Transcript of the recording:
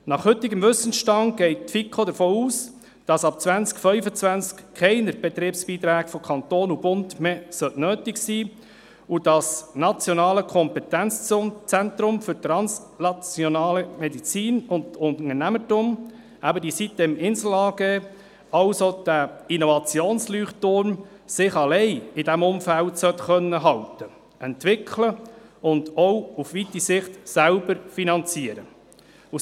Nach heutigem Wissensstand geht die FiKo davon aus, dass ab 2025 keine Betriebsbeiträge mehr vonseiten Bund und Kanton nötig sein sollten und das Nationale Kompetenzzentrum für translationale Medizin und Unternehmertum, eben die sitem-Insel AG, sich als Innovationsleuchtturm alleine in diesem Umfeld sollte halten, sich entwickeln und sich auch auf lange Sicht selbst sollte finanzieren können.